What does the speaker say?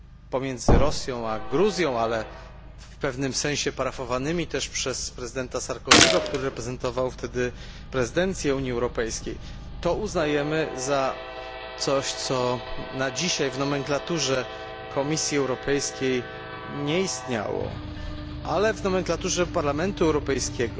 pomiędzy Rosją a Gruzją, ale w pewnym sensie parafowanymi też przez prezydenta Sarkozy'ego, który reprezentował wtedy prezydencję Unii Europejskiej, uznajemy za coś, co na dzisiaj w nomenklaturze Komisji Europejskiej nie istniało, ale w nomenklaturze Parlamentu Europejskiego